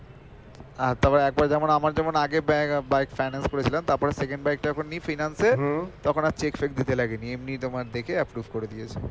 আহ তারপর এরপর যেমন আমার যেমন আগে ব্যা~ bike finance করেছিলাম তারপর second bike টা যখন নি finance এ তখন আর cheque সেক দিতে লাগেনি এমনি তোমার দেখে approve করে দিয়েছে